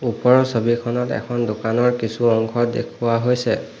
ওপৰৰ ছবিখনত এখন দোকানৰ কিছু অংশ দেখুওৱা হৈছে।